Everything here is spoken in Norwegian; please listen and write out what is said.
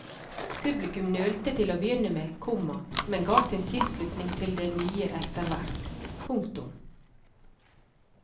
Publikum nølte til å begynne med, komma men ga sin tilslutning til det nye efterhvert. punktum